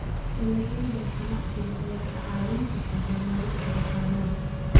Dalagyada ganacsiga ayaa kaa caawin kara horumarinta dhaqaalaha.